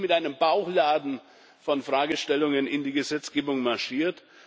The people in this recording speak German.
Wir sind also nicht mit einem Bauchladen von Fragestellungen in die Gesetzgebung marschiert.